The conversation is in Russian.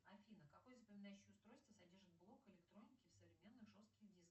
афина какое запоминающее устройство содержит блок электроники в современных жестких дисках